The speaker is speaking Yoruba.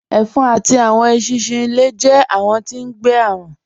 Ẹ̀fọ̀n àti awọn èṣinṣin ilẹ̀ jẹ̀ awọn tí ngbé arùn